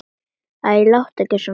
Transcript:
Æ, láttu ekki svona, Snorri.